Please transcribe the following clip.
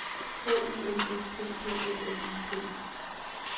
K U N S T P O L I T I